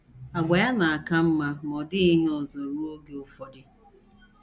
Àgwà ya na - aka mma ma ọ dịghị ihe ọzọ ruo oge ụfọdụ.